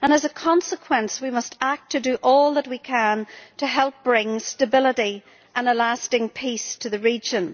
As a consequence, we must do all that we can to help bring stability and a lasting peace to the region.